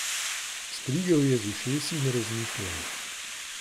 Strigel je z ušesi in razmišljal.